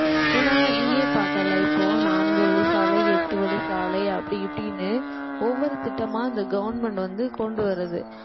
ஏன்னா நீயே பார்த்தே இல்லை இப்போ நான்கு வழிச்சாலை எட்டு எட்டு வழிச்சாலை அப்படி இப்படின்னு ஒவ்வொரு திட்டமா இந்த government வந்து கொண்டு வருது